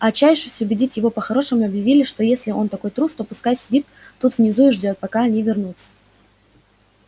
а отчаявшись убедить его по-хорошему объявили что если он такой трус то пускай сидит тут внизу и ждёт пока они вернутся